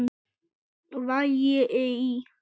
Vægi í